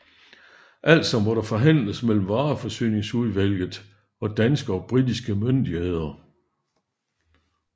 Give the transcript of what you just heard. Altså måtte der forhandles mellem vareforsyningsudvalget og danske og britiske myndigheder